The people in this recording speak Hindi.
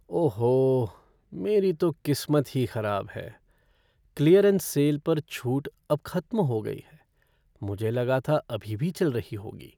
ओहो! मेरी तो किस्मत ही खराब है। क्लीयरेंस सेल पर छूट अब खत्म हो गई है। मुझे लगा था अभी भी चल रही होगी।